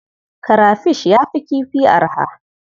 Karafish ya fi kifi arha.